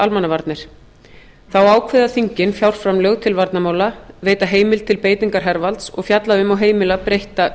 almannavarnir þá ákveða þingin fjárframlög til varnarmála veita heimild til beitingar hervalds og fjalla um og heimila breytta